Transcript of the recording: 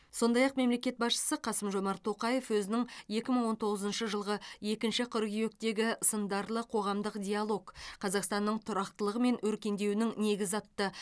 сондай ақ мемлекет басшысы қасым жомарт тоқаев өзінің екі мың он тоғызыншы жылғы екінші қыркүйектегі сындарлы қоғамдық диалог қазақстанның тұрақтылығы мен өркендеуінің негізі атты